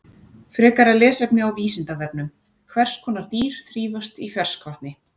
Frekara lesefni á Vísindavefnum: Hvers konar dýr þrífast í ferskvatni?